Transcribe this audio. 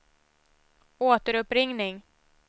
återuppringning